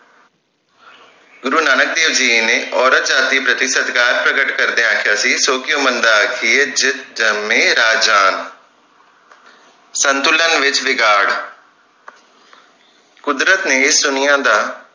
ਗੁਰੂ ਨਾਨਕ ਦੇਵ ਜੀ ਨੇ ਔਰਤ ਜਾਤਿ ਪ੍ਰਤੀ ਸਤਿਕਾਰ ਪ੍ਰਕਟ ਕਰਦਿਆਂ ਆਖਿਆ ਸੀ ਸੌ ਕਿਓਂ ਮੰਦਾ ਆਖੀਏ ਜਿੱਤ ਜੰਮੇ ਰਾਜਾਨ ਸੰਤੁਲਨ ਵਿਚ ਵਿਗਾੜ ਕੁਦਰਤ ਨੇ ਇਸ ਦੁਨੀਆਂ ਦਾ